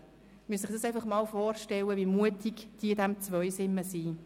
Sie müssen sich einfach mal vorstellen, wie mutig die Leute in Zweisimmen sind.